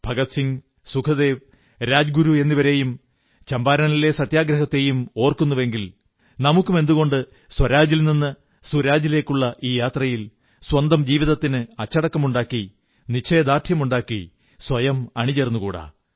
ഭഗത് സിംഗ് സുഖദേവ് രാജ്ഗുരു എന്നിവരെയും ചമ്പാരനിലെ സത്യഗ്രഹത്തെയും ഓർക്കുന്നുവെങ്കിൽ നമുക്കും എന്തുകൊണ്ട് സ്വരാജിൽ നിന്ന് സുരാജിലേക്കുള്ള ഈ യാത്രയിൽ സ്വന്തം ജീവിതത്തിന് അച്ചടക്കമുണ്ടാക്കി നിശ്ചയദാർഢ്യമുണ്ടാക്കി സ്വയം അണിചേർന്നുകൂടാ